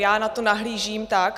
Já na to nahlížím tak.